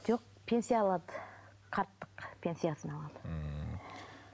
жоқ пенсия алады қарттық пенсиясын алады ммм